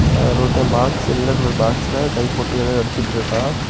அ அதுல ஒருத்த பாக்ஸ்ல நீல கலர் பாக்ஸ்ல கை போட்டு ஏதோ எடுத்துட்டு இருக்கா.